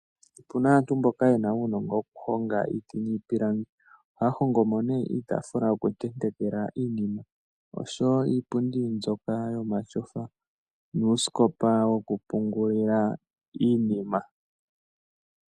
Opu na aantu mboka ye na uunongo okuhonga iiti niipilangi. Ohaya hongo mo nee iitaafula yokutenteka iinima osho wo iipundi mbyoka yomatyofa nuusikopa wokupungula iinima.